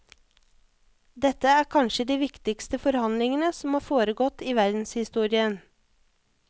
Dette er kanskje de viktigste forhandlingene som har foregått i verdenshistorien.